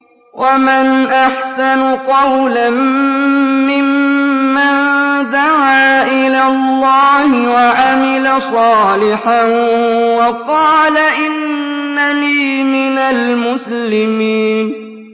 وَمَنْ أَحْسَنُ قَوْلًا مِّمَّن دَعَا إِلَى اللَّهِ وَعَمِلَ صَالِحًا وَقَالَ إِنَّنِي مِنَ الْمُسْلِمِينَ